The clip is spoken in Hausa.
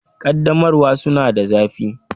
Ƙaddamarwa suna da zafi